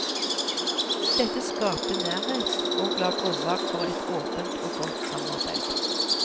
Dette skapte nærhet og la grunnlag for et åpent og godt samarbeid.